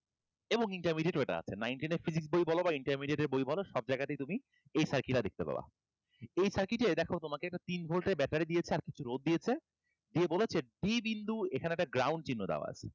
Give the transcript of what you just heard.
এবং intermwdiate এও এইটা আছে nine ten এর physics বই বলো বা intermediate এর বই বলো সব জায়গাতেই তুমি এই circuit টা দেখতে পাবা এই circuit এ দেখো তোমাকে একটা তিন ভোল্ট এর battery দিয়েছে আর কিছু রোধ দিয়েছে দিয়ে বলেছে b বিন্দু এখানে একটা ground চিহ্ন দেওয়া আছে